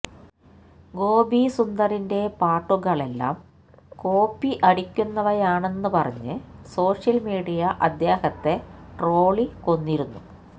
ഗോപി സുന്ദറിന്റെ പാട്ടുകളെല്ലാം കോപ്പി അടിക്കുന്നവയാണെന്ന് പറഞ്ഞ് സോഷ്യല് മീഡിയ അദ്ദേഹത്തെ ട്രോളി കൊന്നിരുന്നു